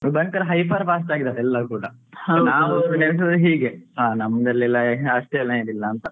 ಭಯಂಕರ hyper fast ಆಗಿದ್ದಾರೆ ಎಲ್ಲರು ಕೂಡ ನಾವು ಎನಿಸುವುದು ಹೀಗೆ ಹಾ ನಮ್ಮದಲೆಲ್ಲ ಇಲ್ಲ ಅಷ್ಟೇನಿಲ್ಲ ಅಂತ.